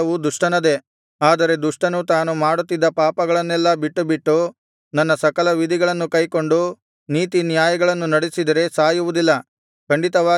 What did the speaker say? ಆದರೆ ದುಷ್ಟನು ತಾನು ಮಾಡುತ್ತಿದ್ದ ಪಾಪಗಳನ್ನೆಲ್ಲಾ ಬಿಟ್ಟುಬಿಟ್ಟು ನನ್ನ ಸಕಲ ವಿಧಿಗಳನ್ನು ಕೈಕೊಂಡು ನೀತಿನ್ಯಾಯಗಳನ್ನು ನಡೆಸಿದರೆ ಸಾಯುವುದಿಲ್ಲ ಖಂಡಿತವಾಗಿ ಜೀವಿಸುವನು